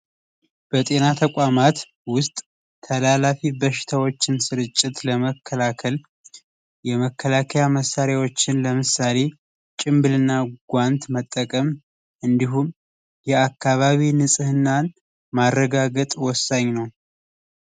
በጤና ተቋማት ውስጥ ተላላፊ በሽታዎችን ስርጭት ለመከላከል የመከላከያ መሣሪያዎችን ለምሳሌ ጭምብልና ጓንት መጠቀም እንዲሁም የአካባቢ ንጽህናን ማረጋገጥ ወሳኝ ነው።